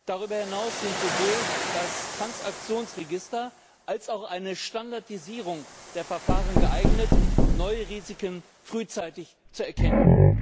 Darüber hinaus sind sowohl das Transaktionsregister als auch eine Standardisierung der Verfahren geeignet, neue Risiken frühzeitig zu erkennen.